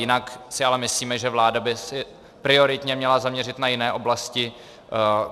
Jinak si ale myslíme, že vláda by se prioritně měla zaměřit na jiné oblasti.